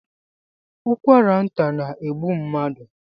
Ụkwara nta na-egbu mmadụ